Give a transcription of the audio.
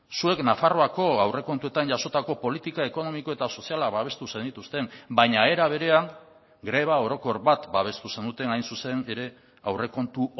zuek nafarroako aurrekontuetan jasotako politika ekonomiko eta soziala babestu zenituzten baina era berean greba orokor bat babestu zenuten hain zuzen ere aurrekontu